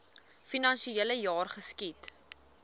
finansiele jaar geskied